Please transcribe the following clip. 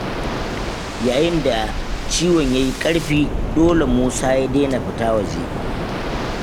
Yayin da ciwon ya yi ƙarfi, dole Musa ya daina fita waje.